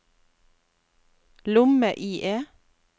lomme-IE